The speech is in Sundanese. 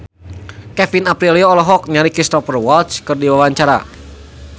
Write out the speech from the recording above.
Kevin Aprilio olohok ningali Cristhoper Waltz keur diwawancara